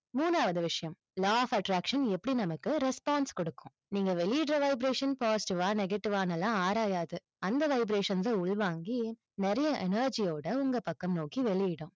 மூணாவது விஷயம் law of attraction எப்படி நமக்கு response கொடுக்கும்? நீங்க வெளியிடற vibration positive வா negative வான்னு எல்லாம் ஆராயாது. அந்த vibrations அ உள்வாங்கி, நிறைய energy யோட உங்க பக்கம் நோக்கி வெளியிடும்.